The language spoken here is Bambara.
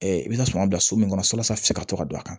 i bɛ na suman bila so min kɔnɔ walasa a bɛ se ka to ka don a kan